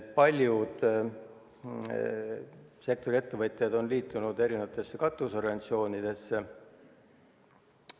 Paljud sektori ettevõtjad on liitunud katusorganisatsioonidega.